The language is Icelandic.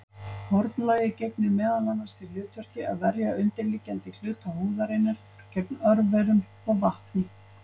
Hornlagið gegnir meðal annars því hlutverki að verja undirliggjandi hluta húðarinnar gegn örverum og vatni.